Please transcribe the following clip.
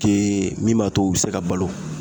Ke min b'a to u be se ka balo